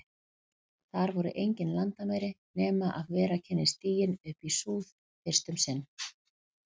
Þar voru engin landamæri, nema ef vera kynni stiginn upp í súð- fyrst um sinn.